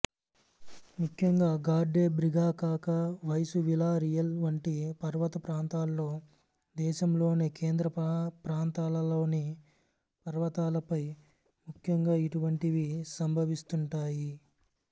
ముఖ్యంగా గార్డే బ్రిగాకాకా వైసూ విలా రియల్ వంటి పర్వతప్రాంతాల్లో దేశంలోని కేంద్రప్రాంతాలలోని పర్వతాలపై ముఖ్యంగా ఇటువంటివి సంభవిస్తుంటాయి